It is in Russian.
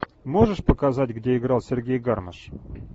можешь показать где играл сергей гармаш